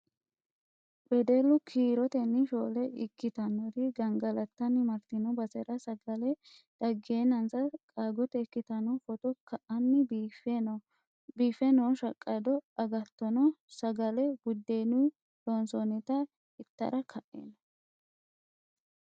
Wedellu kiirotennj shoole ikkittanori gangalattanni martino basera sagale dagenassa qaagote ikkittano footto ka'anni biife no shaqado agattono sagale budenu loonsonnitta ittara ka'e no.